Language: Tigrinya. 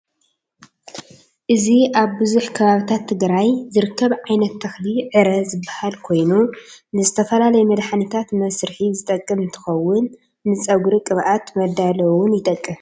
እዚ አብ ቡዝሕ ከባቢታት ትግራይ ዝርከብ ዓይነት ተኽሊ ዕረ ዝበሃል ኮይኑ ንዝተፈላለዩ መድሐኒታት መስርሒ ዝጠቅም እንትኸውን ንፀጉሪ ቅብአት መዳለዊ ውን ይጠቅም።